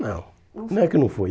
Não, não é que não foi.